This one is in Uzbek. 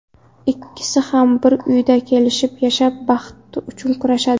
Ikkisi ham bir uyda kelishib yashab, baxti uchun kurashadi.